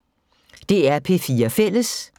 DR P4 Fælles